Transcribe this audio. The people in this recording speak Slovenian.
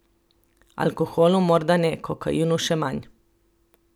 Alkoholu morda ne, kokainu še manj ...